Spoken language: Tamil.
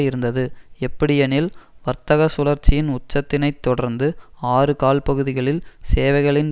இருந்தது எப்படியெனில் வர்த்தக சுழற்சியின் உச்சத்தினைத் தொடர்ந்து ஆறு கால்பகுதிகளில் சேவைகளின்